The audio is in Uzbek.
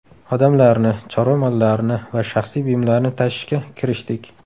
Odamlarni, chorva mollarini va shaxsiy buyumlarni tashishga kirishdik.